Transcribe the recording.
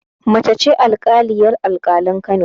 Mace ce alƙaliyar alƙalan Kano